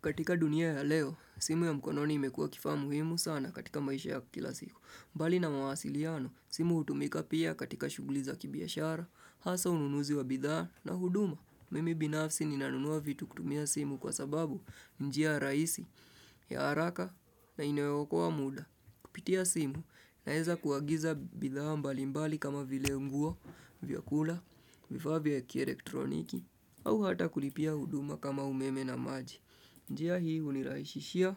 Katika dunia ya leo, simu ya mkononi imekuwa kifaa muhimu sana katika maisha ya kila siku. Mbali na mawasiliano, simu hutumika pia katika shughuli za kibiashara, hasa ununuzi wa bidhaa na huduma. Mimi binafsi ninanunua vitu kutumia simu kwa sababu ni njia rahisi ya haraka na inayo okoa muda. Kupitia simu naweza kuagiza bidhaa mbali mbali kama vile nguo, vyakula, vifaa vya kielektroniki, au hata kulipia huduma kama umeme na maji. Njia hii hunirahisishia